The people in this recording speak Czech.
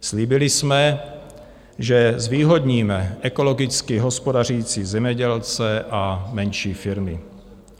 Slíbili jsme, že zvýhodníme ekologicky hospodařící zemědělce a menší firmy.